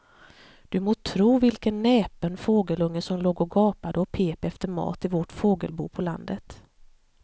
Du må tro vilken näpen fågelunge som låg och gapade och pep efter mat i vårt fågelbo på landet.